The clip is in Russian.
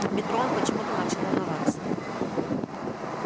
в метро он почему-то начал волноваться